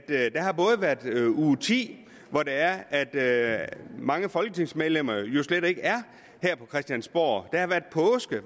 uge ti er er mange folketingsmedlemmer slet ikke her på christiansborg